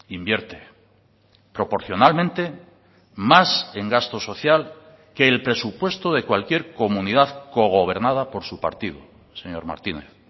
invierte proporcionalmente más en gasto social que el presupuesto de cualquier comunidad cogobernada por su partido señor martínez